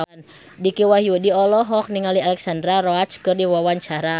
Dicky Wahyudi olohok ningali Alexandra Roach keur diwawancara